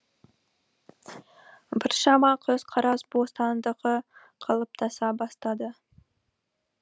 біршама көзқарас бостандығы қалыптаса бастады